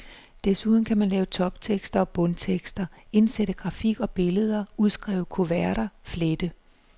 Desuden kan man lave toptekster og bundtekster, indsætte grafik og billeder, udskrive kuverter, flette.